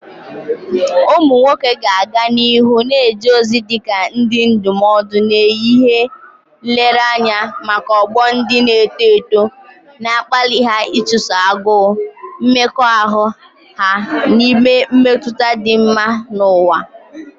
Ụmụ nwoke ga-aga n'ihu na-eje ozi dị ka ndị ndụmọdụ na ihe nlereanya maka ọgbọ ndị na-eto eto, na-akpali ha ịchụso agụụ mmekọahụ ha na ime mmetụta dị mma n'ụwa.